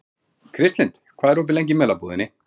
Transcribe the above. Kristlind, hvað er opið lengi í Melabúðinni?